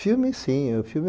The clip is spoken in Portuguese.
Filmes, sim.